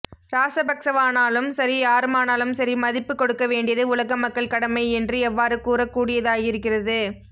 இராசபக்சவானாலும் சரி யாருமானாலும்சரி மதிப்புக் கொடுக்க வேண்டியது உலகமக்கள் கடமை என்று எவ்வாறு கூறக்கூடியதாயிருக்கிறது